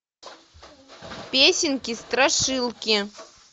песенки страшилки